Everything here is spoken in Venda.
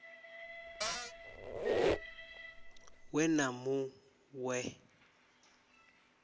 we na mu ṅ we